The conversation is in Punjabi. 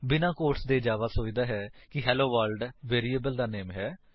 ਬਿਨਾਂ ਕੋਟਸ ਦੇ ਜਾਵਾ ਸੋਚਦਾ ਹੈ ਕਿ ਹੈਲੋਵਰਲਡ ਵੇਰਿਏਬਲ ਦਾ ਨਾਮ ਹੈ